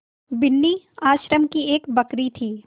बिन्नी आश्रम की एक बकरी थी